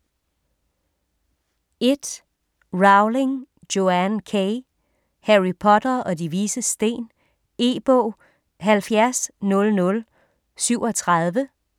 1. Rowling, Joanne K.: Harry Potter og De Vises Sten E-bog 700037